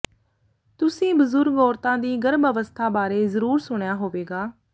ਤੁਸੀਂ ਬਜ਼ੁਰਗ ਔਰਤਾਂ ਦੀ ਗਰਭ ਅਵਸਥਾ ਬਾਰੇ ਜ਼ਰੂਰ ਸੁਣਿਆ ਹੋਵੇਗਾ